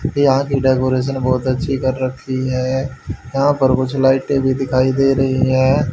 यहां की डेकोरेशन बहोत अच्छी कर रखी है यहां पर कुछ लाइटें भी दिखाई दे रही है।